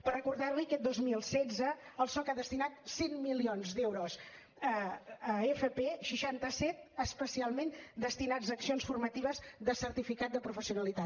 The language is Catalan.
per recordar li aquest dos mil setze el soc ha destinat cent milions d’euros a fp seixanta set especialment destinats a accions formatives de certificat de professionalitat